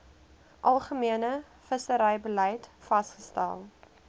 algemene visserybeleid vasgestel